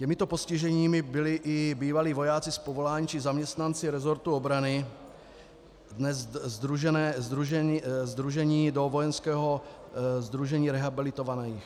Těmito postiženými byli i bývalí vojáci z povolání či zaměstnanci resortu obrany, dnes sdružení do Vojenského sdružení rehabilitovaných.